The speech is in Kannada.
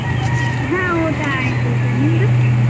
ಹಾ ಊಟಾ ಆಯ್ತು sir, ನಿಮ್ದು?